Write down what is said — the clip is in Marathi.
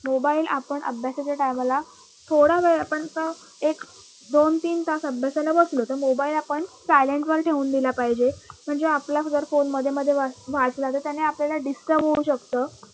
मोबाईल आपण अभ्यासाच्या time ला थोडावेळ आपण का एक, दोन, तीन तास अभ्यासाला आपण बसलो तर mobile आपण silent वर ठेऊन दिला पाहिजे म्हणजे आपला phone मधे मधे वाज वाजला तर त्याने आपल्याला disturb होऊ शकत